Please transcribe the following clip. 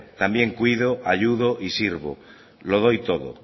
también cuido ayudo y sirvo lo doy todo